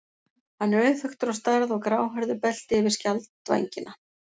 Hann er auðþekktur á stærð og gráhærðu belti yfir skjaldvængina.